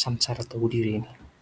Samy tsara daholy ireny.